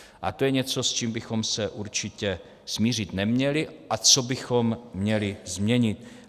A to je něco, s čím bychom se určitě smířit neměli a co bychom měli změnit.